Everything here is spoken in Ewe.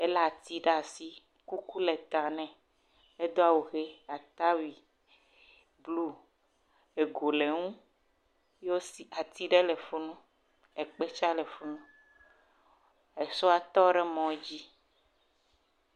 ele ati ɖasi kuku le ta nɛ edó awu he atawui blu ego le ŋu yɔwo si ati ɖe le funu ekpe tsa le funu esɔa tɔɖe mɔdzi